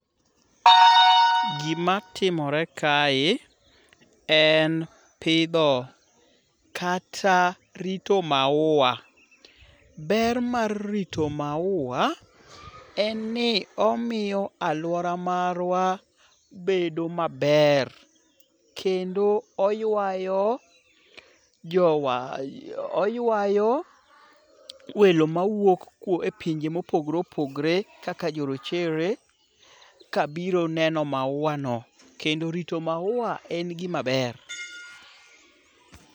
Gimatimore kae, en pidho kata rito maua. Ber mar rito maua en ni omiyo alwora marwa bedo maber kendo oywayo welo mawuok e pinj mopogore opogore kaka jorochere kabiro neno maua no. Kendo rito maua en gimaber.